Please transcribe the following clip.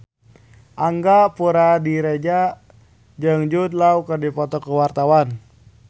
Angga Puradiredja jeung Jude Law keur dipoto ku wartawan